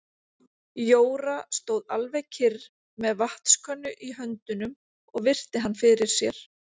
Jóra stóð alveg kyrr með vatnskönnu í höndunum og virti hann fyrir sér.